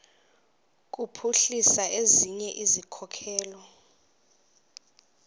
kuphuhlisa ezinye izikhokelo